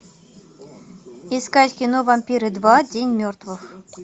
искать кино вампиры два день мертвых